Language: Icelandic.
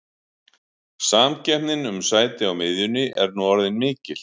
Samkeppnin um sæti á miðjunni er nú orðin mikil.